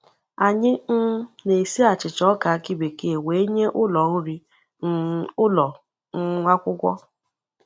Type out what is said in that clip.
Anyị um na-esi achịcha ọka akị bekee wee nye ụlọ nri um ụlọ um akwụkwọ.